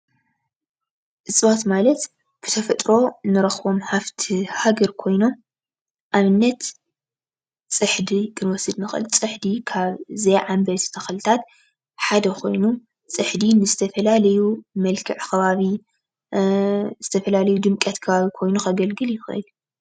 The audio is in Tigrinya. እፅዋት ማለት ብተፈጥሮ ንረክቦም ሃፍቲ ሃገር ኮይኖም ኣብነት ፅሕዲ ክንወስድ ንኽእል ፅሕዲ ካብ ዘይዓንበብቲ ተኽልታት ሓደ ኮይኑ ፅሕዲ ንዝተፈላለዩ መልክዕ ከባቢ ዝተፈላለዩ ድምቀት ከባቢ ኮይኑ ከገልገል ይኽእል።